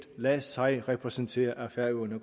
lade sig repræsentere af færøerne